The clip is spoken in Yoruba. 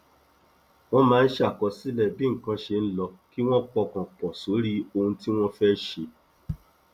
wọn máa ń ṣàkọsílẹ bí nǹkan ṣe ń lọ kí wọn pọkàn pọ sórí ohun tí wọn fẹ ṣe